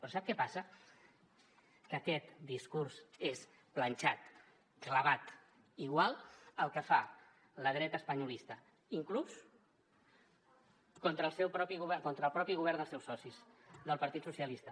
però sap què passa que aquest discurs és planxat clavat igual que el que fa la dreta espanyolista inclús contra el seu propi govern contra el propi govern dels seus socis del partit socialista